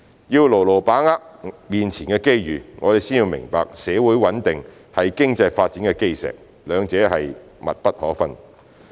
要牢牢把握面前的機遇，我們先要明白社會穩定是經濟發展的基石，兩者是密不可分的。